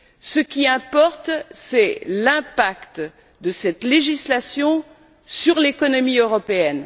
Ce qui importe, c'est l'impact de cette législation sur l'économie européenne.